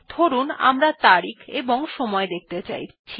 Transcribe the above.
ধরুন আমরা তারিখ এবং সময় দেখতে চাইছি